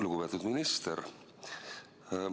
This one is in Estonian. Lugupeetud minister!